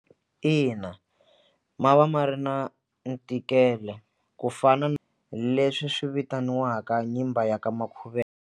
Ina ma va ma ri na ntikelo ku fana na leswi swi vitaniwaka nyimba ya ka .